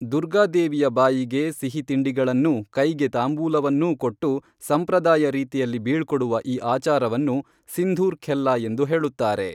ದುರ್ಗಾದೇವಿಯ ಬಾಯಿಗೆ ಸಿಹಿ ತಿಂಡಿಗಳನ್ನೂ ಕೈಗೆ ತಾಂಬೂಲವನ್ನೂ ಕೊಟ್ಟು ಸಂಪ್ರದಾಯ ರೀತಿಯಲ್ಲಿ ಬೀಳ್ಕೊಡುವ ಈ ಆಚಾರವನ್ನು ಸಿಂಧೂರ್‌ ಖೆಲ್ಲಾ ಎಂದು ಹೇಳುತ್ತಾರೆ